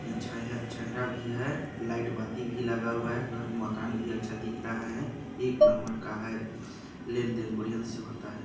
हा छईया चेहरा भी है लाइट बाती भी लगा हुआ है घर मकान भी अच्छा दिख रहा है एक नंबर का है लेन-देन बढ़ियन से होता है।